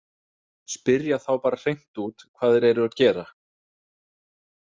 Spyrja þá bara hreint út hvað þeir eru að gera.